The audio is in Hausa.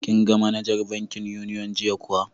Kin ga manajar bankin Union jiya kuwa?